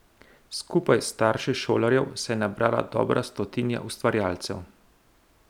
Skupaj s starši šolarjev se je nabrala dobra stotnija ustvarjalcev.